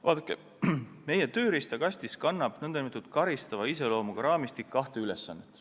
Vaadake, meie tööriistakastis on nn karistava iseloomuga raamistikul kaks ülesannet.